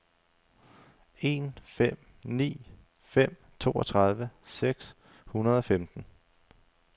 en fem ni fem toogtredive seks hundrede og femten